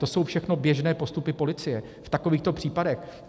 To jsou všechno běžné postupy policie v takovýchto případech.